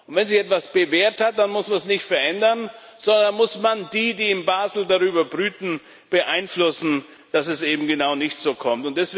Wenn sich etwas bewährt hat, dann müssen wir es nicht verändern, sondern dann muss man diejenigen, die in Basel darüber brüten, beeinflussen, dass es eben genau nicht so kommt.